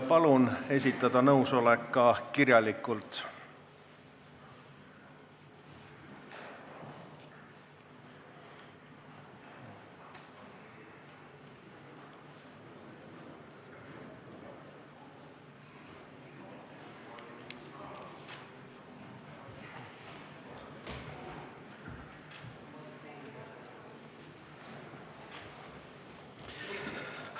Palun esitada nõusolek ka kirjalikult!